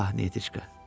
Ah, Niyetişka.